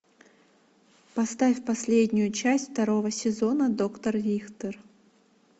поставь последнюю часть второго сезона доктор рихтер